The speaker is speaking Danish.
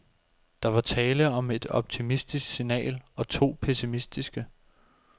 Der var tale om et optimistisk signal og to pessimistiske.